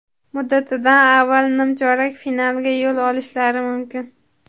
muddatidan avval nimchorak finalga yo‘l olishlari mumkin.